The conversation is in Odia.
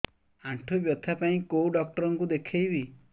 ଆଣ୍ଠୁ ବ୍ୟଥା ପାଇଁ କୋଉ ଡକ୍ଟର ଙ୍କୁ ଦେଖେଇବି